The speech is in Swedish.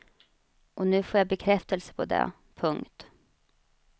Och nu får jag bekräftelse på det. punkt